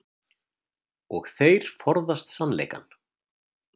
Og þeir forðast sannleikann.